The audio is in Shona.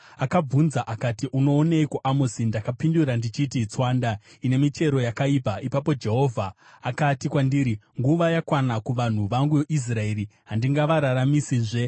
Akabvunza akati, “Unooneiko, Amosi?” Ndakapindura ndichiti, “Tswanda ine michero yakaibva.” Ipapo Jehovha akati kwandiri, “Nguva yakwana kuvanhu vangu Israeri; handingavararamisizve.